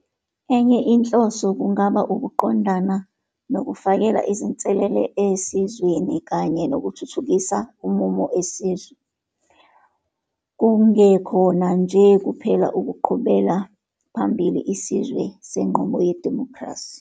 Enye inhloso kungaba ukuqondana nokufakela izinselele esizweni kanye nokuthuthukisa umumo esizwe, kungekhona nje kuphela ukuqhubela phambili isizwe senqubo yedimokhrasi.